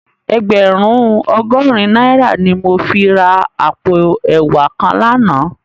Ègbèrún ògòrín nàirá ni mó fi rá àpó èwá kán làná